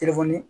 Telefɔni